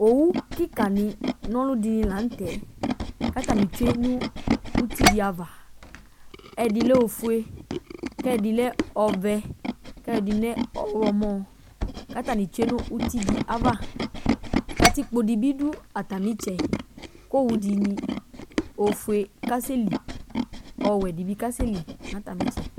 Owu kɩkanɩ na ɔlʋ dɩnɩ la nʋ tɛ kʋ atanɩ tsue nʋ uti dɩ ava Ɛdɩ lɛ ofue kʋ ɛdɩ lɛ ɔvɛ kʋ ɛdɩ lɛ ɔɣlɔmɔ kʋ atanɩ tsue nʋ uti dɩ ava Katikpo dɩ bɩ dʋ atamɩ tsɛ kʋ owu dɩnɩ ofue kasɛli, ɔwɛ dɩ bɩ kasɛli nʋ atamɩ tsɛ